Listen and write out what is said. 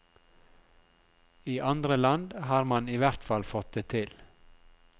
I andre land har man i hvert fall fått det til.